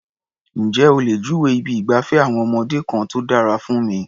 Ǹjé o lè júwèé ibi ìgbafẹ́ àwọn ọmọdé kan tó dára fún mi?